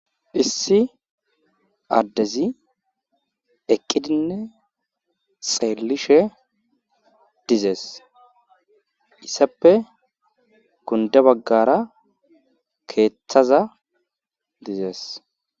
issi addezi eqqidinne xeellishe dizees issappe gunda baggara keeththaza dizees